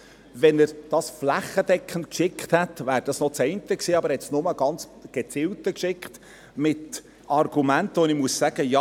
Wenn er es flächendeckend verschickt hätte, wäre es noch eins, aber er hat es ganz gezielt geschickt und mit Argumenten, bei denen ich sagen muss: